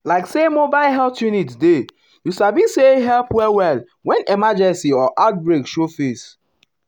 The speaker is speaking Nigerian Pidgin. like say mobile health unit dey you sabi sayhelp well-well when emergency or outbreak show face.